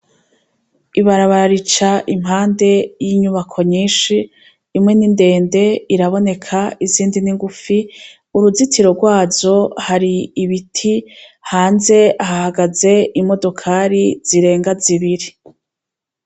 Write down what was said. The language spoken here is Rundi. Ibarabara rica impande y'inyubako nyinshi imwe n'indende iraboneka izindi n'ingufi uruzitiro rwazo hari ibiti hanze hahagaze imodokari zirenga zibiri.